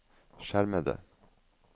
skjermede